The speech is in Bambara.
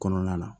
Kɔnɔna na